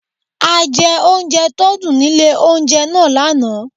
A jẹ oúnjẹ tó dùn nílé oúnjẹ náà lánáà